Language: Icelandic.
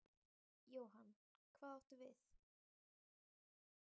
Jóhann: Hvað áttu við?